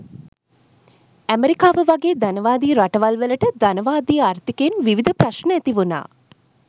ඇමෙරිකාව වගේ ධනවාදී රටවල් වලට ධනවාදී ආර්ථිකයෙන් විවිධ ප්‍රශ්න ඇතිවුණා.